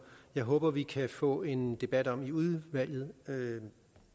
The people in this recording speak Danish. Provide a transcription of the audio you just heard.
jeg håber vi kan få en debat om i udvalget